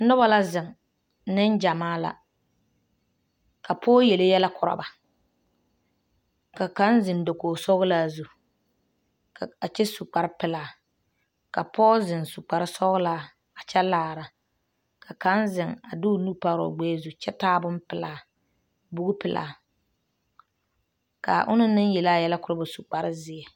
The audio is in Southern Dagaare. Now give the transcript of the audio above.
Noba la zeŋ nengyamaa la ka pɔge yele yɛlɛ korɔ ba ka kaŋ zeŋ dakogisɔglaa zu ka a kyɛ su kparepelaa ka pɔge zeŋ su kparesɔglaa a kyɛ laara ka kaŋ zeŋ a de o nu pare o gbɛɛ zu kyɛ taa bonpelaa bugipelaa k,a onaŋ naŋ yele a yɛlɛ korɔ ba a su kparezeɛ.